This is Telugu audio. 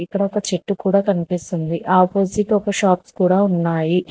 ఇక్కడ ఒక చెట్టు కూడా కనిపిస్తుంది ఆపోసిట్ ఒక షాప్స్ కూడా ఉన్నాయి.